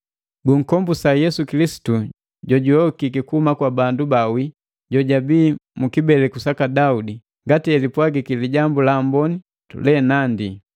Gunkombuka Yesu Kilisitu jojuyokiki kuhuma bandu baawii, jojabii mu kibeleku saka Daudi, ngati elipwagiki Lijambu la Amboni lenandi,